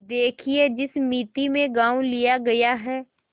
देखिए जिस मिती में गॉँव लिया गया है